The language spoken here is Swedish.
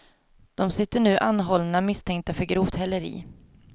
De sitter nu anhållna misstänkta för grovt häleri.